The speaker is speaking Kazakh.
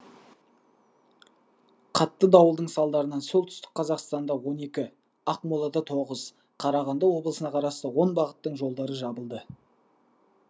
қатты дауылдың салдарынан солтүстік қазақстанда он екі ақмолада тоғыз қарағанды облысына қарасты он бағыттың жолдары жабылды